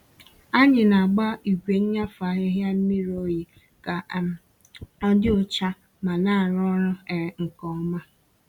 Ànyị na-agba igwe nnyafu ahịhịa mmiri oyi ka um ọ dị ọcha ma na-arụ ọrụ um nke ọma.